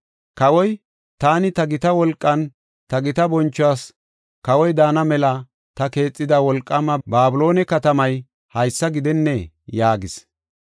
Kawoy, “Taani, ta gita wolqan, ta gita bonchuwas kawoy daana mela ta keexida wolqaama Babiloone katamay haysa gidennee?” yaagis.